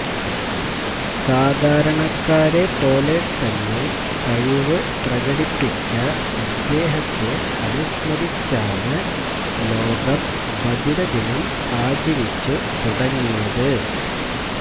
സാധരണക്കാരെ പോലെ തന്നെ കഴിവ് പ്രകടിപ്പിച്ച അദ്ദേഹത്തെ അനുസ്മരിച്ചാണ് ലോകം ബധിര ദിനം ആചരിച്ചു തുടങ്ങിയത്